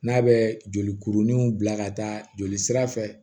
N'a bɛ joli kuruninw bila ka taa jolisira fɛ